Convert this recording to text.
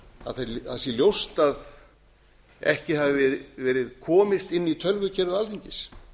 í dag að ljóst sé að ekki hafi verið komist inn í tölvukerfi alþingis